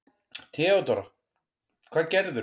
THEODÓRA: Hvað gerðirðu?